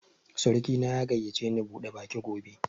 Surki na ya gayyace ni bude baki gobe